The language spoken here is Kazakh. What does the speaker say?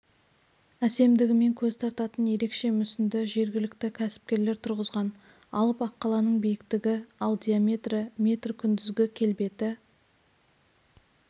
әсемдігімен көз тартатын ерешке мүсінді жергілікті кәсіпкерлер тұрғызған алып аққаланың биіктігі ал диаметрі метр күндізгі келбеті